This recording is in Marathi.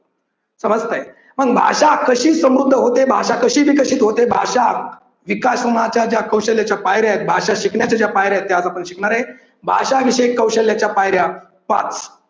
समजतंय. मग भाषा कशी समृद्ध होते, भाषा कशी विकसित होते, भाषा विकास होण्याच्या ज्या कौशल्याच्या पायर्‍या आहेत, भाषा शिकण्याच्या ज्या पायऱ्या आहेत, त्या आपण आज शिकणार आहे. भाषा विषय कौशल्याच्या पायऱ्या पाच.